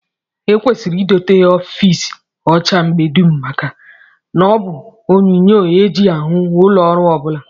E kwesịrị idote ofiisi ọcha mgbe dum maka na ọ bụ onyonyoo e ji ahụ ụlọọrụ ọ bụla